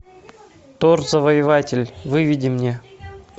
тор завоеватель выведи мне